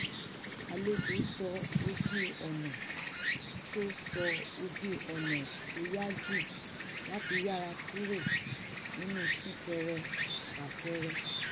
àlejò sọ ojú-ọ̀nà tó sọ ojú-ọ̀nà tó yá jù láti yára kúrò nínú sún-kẹrẹ-fà-kẹrẹ